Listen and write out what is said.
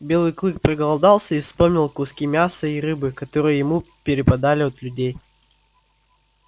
белый клык проголодался и вспомнил куски мяса и рыбы которые ему перепадали от людей